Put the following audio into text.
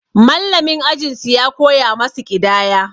Mallamin ajin su ya koya masu ƙidaya.